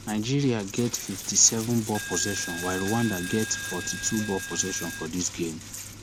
nigeria get fifty-seven ball possession while rwanda get forty-two ball possession for dis game